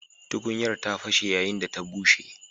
Tukunyar ta fashe yayin da ta bushe.